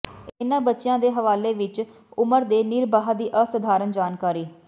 ਇਨ੍ਹਾਂ ਬੱਚੀਆਂ ਦੇ ਹਵਾਲੇ ਵਿਚ ਉਮਰ ਦੇ ਨਿਰਬਾਹ ਦੀ ਅਸਾਧਾਰਣ ਜਾਣਕਾਰੀ